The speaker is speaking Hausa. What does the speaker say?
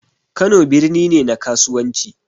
Kano birni ne na kasuwanci